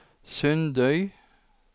Sundøy